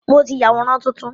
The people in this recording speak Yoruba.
Mo ti ya àwòrán tuntun.